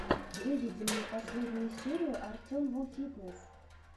выведи мне последнюю серию артемвуфитнесс